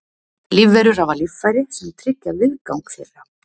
lífverur hafa líffæri sem tryggja viðgang þeirra